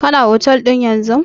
Kana otel ɗin yanzun?